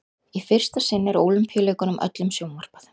í fyrsta sinn er ólympíuleikunum öllum sjónvarpað